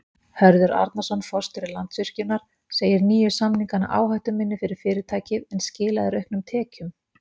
Hörður Arnarson, forstjóri Landsvirkjunar segir nýju samningana áhættuminni fyrir fyrirtækið en skila þeir auknum tekjum?